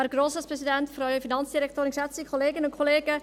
Kommissionssprecherin der FiKo.